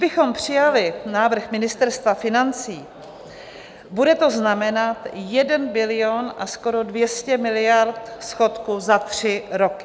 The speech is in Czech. Kdybychom přijali návrh Ministerstva financí, bude to znamenat 1 bilion a skoro 200 miliard schodku za tři roky.